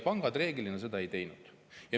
Pangad seda reeglina ei teinud.